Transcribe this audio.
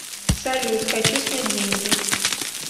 салют хочу снять деньги